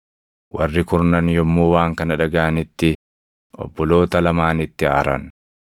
Warri kurnan yommuu waan kana dhagaʼanitti obboloota lamaanitti aaran.